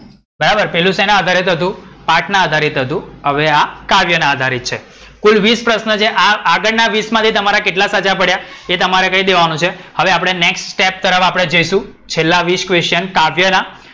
બરાબર, પેલું શેના આધારિત હતું? પાઠ ના આધારિત હતું, હવે આ કાવ્યના આધારિત છે.